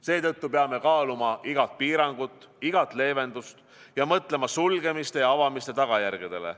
Seetõttu peame kaaluma igat piirangut, igat leevendust ja mõtlema sulgemiste ja avamiste tagajärgedele.